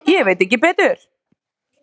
Ég veit ekki betur.